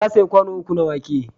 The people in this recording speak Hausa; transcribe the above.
Ta sayi kwano uku na wake.